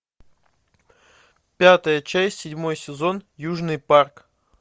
пятая часть седьмой сезон южный парк